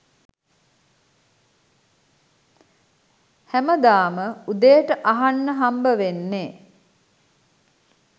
හැමදාම උදේට අහන්න හම්බවෙන්නේ